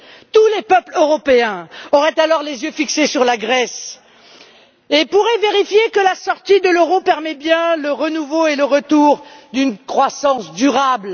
Tous les peuples européens auraient alors les yeux fixés sur la Grèce et pourraient vérifier que la sortie de l'euro permet bien le renouveau et le retour d'une croissance durable.